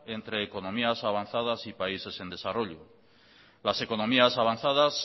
entre economías avanzadas y países en desarrollo las economías avanzadas